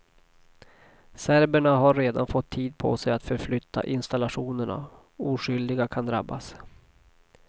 Serberna har redan fått tid på sig att förflytta installationerna, oskyldiga kan drabbas.